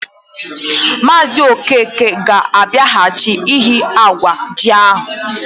Maazi Okeke ga abiaghachi iyi awa ji ya.